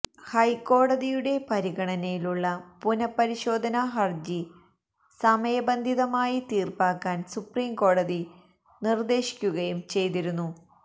ഹൈക്കോടതിയുടെ പരിഗണനയിലുള്ള പുനപരിശോധന ഹരജി സമയബന്ധിതമായി തീര്പ്പാക്കാന് സുപ്രിം കോടതി നിര്ദ്ദേശിക്കുകയും ചെയ്തിരുന്നു